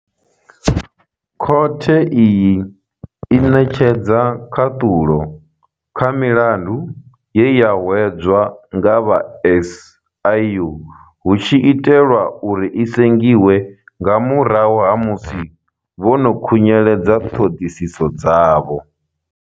Khothe iyi i ṋetshedza khaṱhulo kha milandu ye ya hwedzwa nga vha SIU hu tshi itelwa uri i sengiswe nga murahu ha musi vho no khunyeledza ṱhoḓisiso dzavho.